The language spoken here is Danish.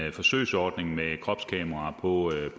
en forsøgsordning med kropskameraer på